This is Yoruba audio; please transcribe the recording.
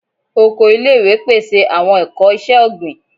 Oko ile-iwe pese awọn ẹkọ iṣẹ-ogbin